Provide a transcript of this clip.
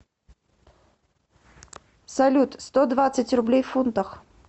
салют сто двадцать рублей в фунтах